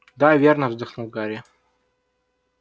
да верно вздохнул гарри